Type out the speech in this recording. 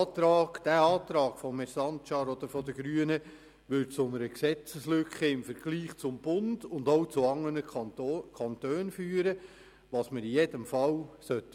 Der Antrag von Grossrat Sancar beziehungsweise der Grünen würde zu einer Gesetzeslücke im Vergleich zum Bund und auch im Vergleich zu anderen Kantonen führen, was wir auf jeden Fall vermeiden sollten.